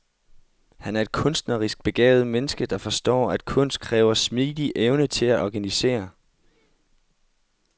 Han er et kunstnerisk begavet menneske, der forstår, at kunst kræver smidig evne til at organisere.